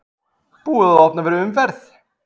Búið að opna fyrir umferð